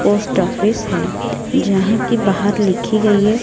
Post office है जहां की बाहर लिखी गई है।